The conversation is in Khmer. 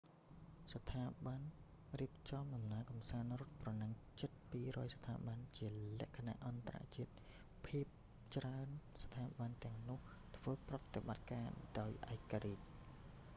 មានស្ថាប័នរៀបចំដំណើរកម្សាន្តរត់ប្រណាំងជិត 200 ស្ថាប័ន ជាលក្ខណៈអន្តរជាតិ ភាគច្រើន ស្ថាប័នទាំងនោះធ្វើប្រតិបត្តការដោយឯករាជ្យ